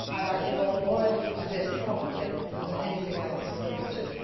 forward. I devote more energy to this probably than to anything else